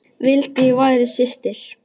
Vildi ég væri systir.